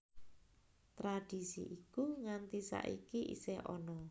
Tradisi iku nganti saiki isih ana